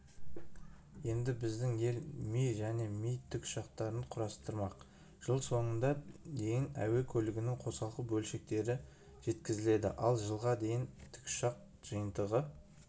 енді біздің ел ми және ми тікұшақтарын құрастырмақ жыл соңына дейін әуе көлігінің қосалқы бөлшектері жеткізіледі ал жылға дейін тікұшақ жиынтығы